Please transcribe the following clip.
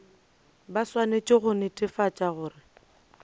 ba swanetše go netefatša gore